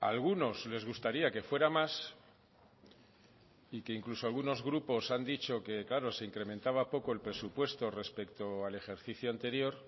algunos les gustaría que fuera más y que incluso algunos grupos han dicho que claro se incrementaba poco el presupuesto respecto al ejercicio anterior